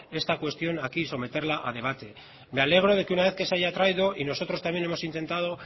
esta cuestión aquí y someterla a debate me alegro de que una vez que se haya traído y nosotros también hemos intentado